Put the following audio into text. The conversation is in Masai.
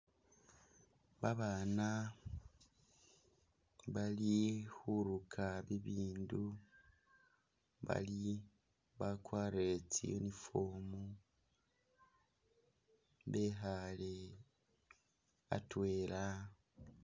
Babana bali khuruka ibindu bali bakwarire tsi uniform bekhale atwela